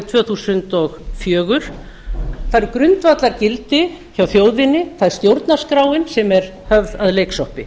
tvö þúsund og fjögur það eru grundvallargildi hjá þjóðinni sem eru höfð að leiksoppi